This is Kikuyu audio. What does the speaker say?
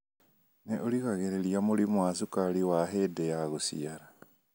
Nĩ ũgiragirĩria mũrimũ wa cukari wa hĩndĩ ya gũciara